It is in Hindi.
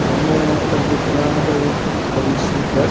हमें यहाँ पर दिख रहा है एक बड़ी सी बस।